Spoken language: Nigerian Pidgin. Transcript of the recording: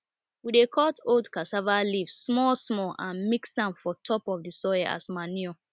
we dey cut old cassava leaf small small and mix am for top of the soil as manure